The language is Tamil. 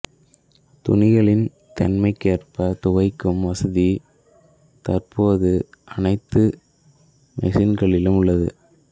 துணிகளின் தன்மைக்கேற்ப துவைக்கும் வசதி தற்போது அனைத்து மெஷின்களிலும் உள்ளது